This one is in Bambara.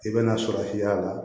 I bɛna sɔrɔ f'i y'a la